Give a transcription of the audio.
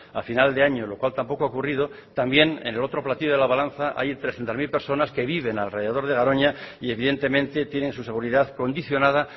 a final de año lo cual tampoco ha ocurrido también en el otro platillo de la balanza hay trescientos mil personas que viven alrededor de garoña y evidentemente tienen su seguridad condicionada